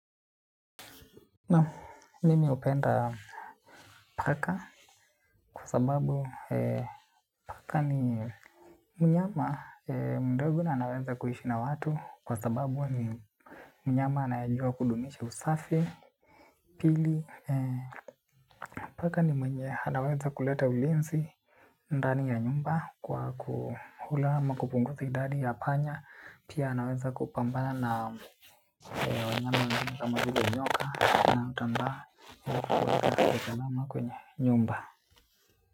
Naam, mimi hupenda paka kwa sababu paka ni mnyama mdogo na anaweza kuishi na watu kwa sababu ni mnyama anayejua kudumisha usafi pili, paka ni mwenye anaweza kuleta ulinzi ndani ya nyumba kwa kukula ama kupunguza idadi ya panya, pia anaweza kupambana na wanyama unami kama zile nyoka na utambaa uweza ikadama kwenye nyumba.